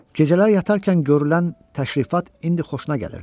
Gecələr yatarkən görünən təşrifat indi xoşuna gəlirdi.